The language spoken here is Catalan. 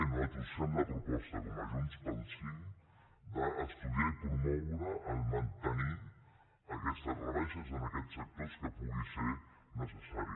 i nosaltres fem la proposta com a junts pel sí d’estudiar i promoure mantenir aquestes rebaixes en aquests sectors en què pugui ser necessari